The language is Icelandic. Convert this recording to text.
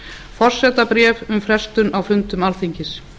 forsetabréf um frestun á fundum alþingis